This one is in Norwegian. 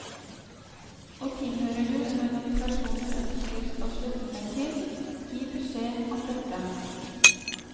Og tilhører du en organisasjon du ønsker skal slutte seg til, gi beskjed om det.